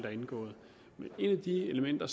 er indgået men et af de elementer